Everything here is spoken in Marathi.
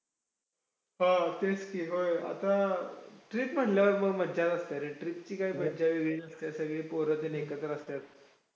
अजूनही ते दोघं खूप छान शिकवायचे .समजून घ्यायचे हम मारायचे कधी राआ काही अभ्यास वगैरे नाही आला तर खूप चांगले होते ते.